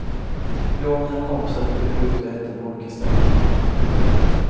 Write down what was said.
Jag och mina kompisar brukade gå ut och äta på olika ställen.